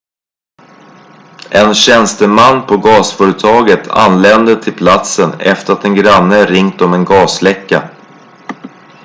en tjänsteman på gasföretaget anlände till platsen efter att en granne ringt om en gasläcka